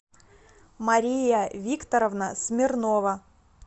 мария викторовна смирнова